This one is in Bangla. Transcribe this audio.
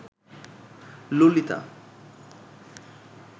ললিতা